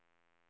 samband